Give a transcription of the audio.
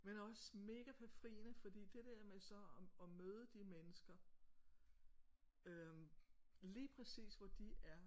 Men også mega befriende fordi det der med så og og møde de mennesker øh lige præcis hvor de er